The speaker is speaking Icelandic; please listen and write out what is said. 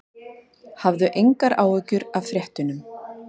Hafðu engar áhyggjur af fréttunum.